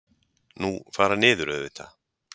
Nú. fara niður auðvitað!